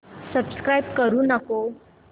subscribe करू नको